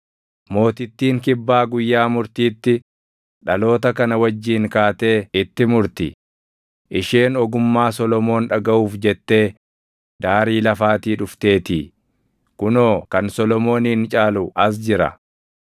Mootittiin kibbaa guyyaa murtiitti dhaloota kana wajjin kaatee itti murti; isheen ogummaa Solomoon dhagaʼuuf jettee daarii lafaatii dhufteetii; kunoo, kan Solomoonin caalu as jira.